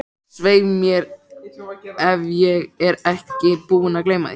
Svei mér ef ég er ekki búinn að gleyma því